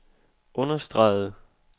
understregede